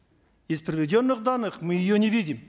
из приведенных данных мы ее не видим